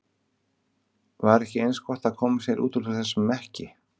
Var ekki eins gott að koma sér út úr þessum mekki?